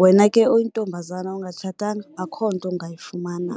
wena ke oyintombazana ongatshatanga akho nto ungayifumana.